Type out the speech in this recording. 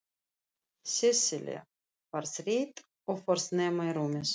Sesselja var þreytt og fór snemma í rúmið.